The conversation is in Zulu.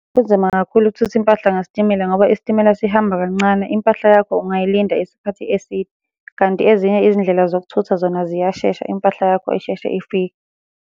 Kunzima kakhulu ukuthutha impahla ngesitimela ngoba isitimela sihamba kancane, impahla yakho ungayilinda isikhathi eside, kanti ezinye izindlela zokuthutha zona ziyashesha impahla yakho isheshe ifike.